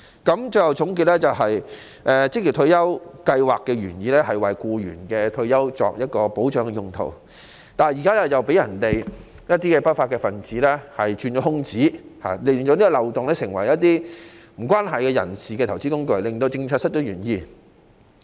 我最後總結，職業退休計劃的原意是為僱員的退休生活作保障，但現在被一些不法分子鑽空子，令計劃成為不相關人士的投資工具，使政策失去原意。